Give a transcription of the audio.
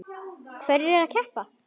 Hverjir eru að keppa?